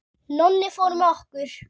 Nonni fór með okkur.